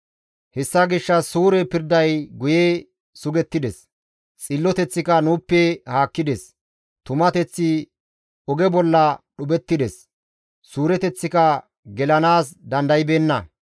Hessa gishshas suure pirday guye sugettides; xilloteththika nuuppe haakkides; tumateththi oge bolla dhuphettides; suureteththika gelanaas dandaybeenna.